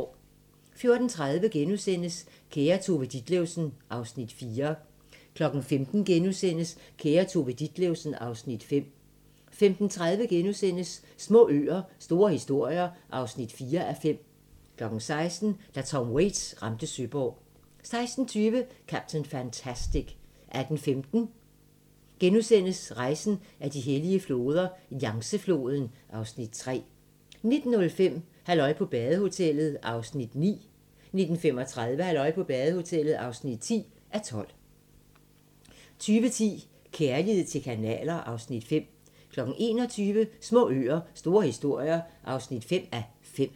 14:30: Kære Tove Ditlevsen (Afs. 4)* 15:00: Kære Tove Ditlevsen (Afs. 5)* 15:30: Små øer - store historier (4:5)* 16:00: Da Tom Waits ramte Søborg 16:20: Captain Fantastic 18:15: Rejsen ad de hellige floder - Yangtze-floden (Afs. 3)* 19:05: Halløj på badehotellet (9:12) 19:35: Halløj på badehotellet (10:12) 20:10: Kærlighed til kanaler (Afs. 5) 21:00: Små øer - store historier (5:5)